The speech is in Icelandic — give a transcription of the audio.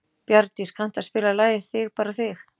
Bjarndís, kanntu að spila lagið „Þig bara þig“?